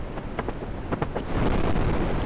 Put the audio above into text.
Ég þóttist viss um að ég hefði lagt líf hans í rúst.